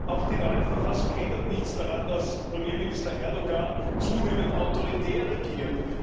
Auch die neue Verfassung ändert nichts daran, dass Premierminister Erdoğan zunehmend autoritär regiert.